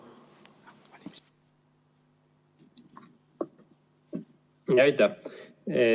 Aitäh!